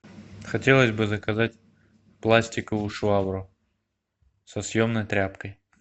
хотелось бы заказать пластиковую швабру со съемной тряпкой